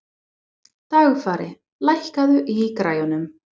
Dagfari, lækkaðu í græjunum.